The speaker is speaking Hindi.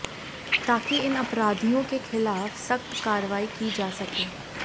ताकि इन अपराधियों के खिलाफ सख्त कार्रवाई की जा सके